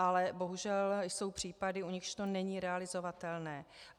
Ale bohužel jsou případy, u nichž to není realizovatelné.